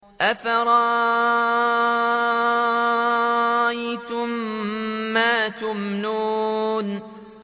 أَفَرَأَيْتُم مَّا تُمْنُونَ